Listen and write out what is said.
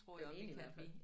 Den ene i hvert fald